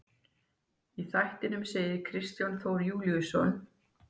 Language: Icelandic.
Í þættinum segir Kristján Þór Júlíusson: